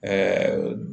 Ɛɛ